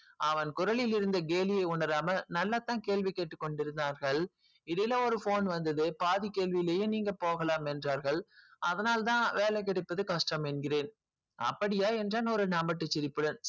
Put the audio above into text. அவன் குரலில் உள்ள கேலியே உணராமல் நல்லதா கேள்வி கொண்டு இருந்தார்கள் இடையில் ஒரு phone வந்துது பாதி கேள்விலேயே நீங்க போகலாம் என்றார்கள் அதனால் தான் வேலை கிடைப்பது கஷ்டம் என்கிறேன்